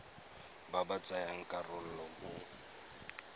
ba ba tsayang karolo mo